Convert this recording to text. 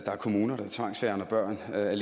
her